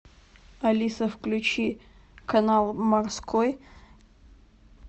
алиса включи канал морской